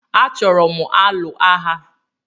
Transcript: Achoro m alụ agha